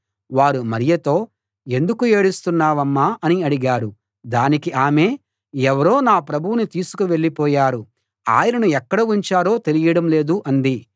వారు మరియతో ఎందుకు ఏడుస్తున్నావమ్మా అని అడిగారు దానికి ఆమె ఎవరో నా ప్రభువును తీసుకు వెళ్ళిపోయారు ఆయనను ఎక్కడ ఉంచారో తెలియడం లేదు అంది